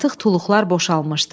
Artıq tuluqlar boşalmışdı.